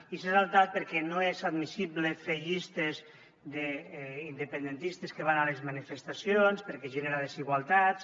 i s’ha saltat perquè no és admissible fer llistes d’independentistes que van a les manifestacions perquè genera desigualtats